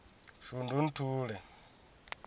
shundunthule